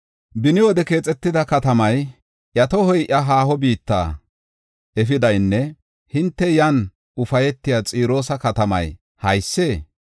Beni wode keexetida katamay, iya tohoy iya haaho biitta efidaynne hinte iyan ufaytiya Xiroosa katamay haysee?